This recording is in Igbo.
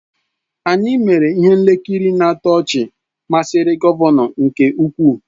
Anyị mere ihe nkiri na-atọ ọchị masịrị gọvanọ nke ukwuu.